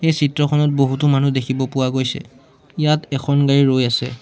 এই চিত্ৰখনত বহুতো মানুহ দেখিব পোৱা গৈছে ইয়াত এখন গাড়ী ৰৈ আছে।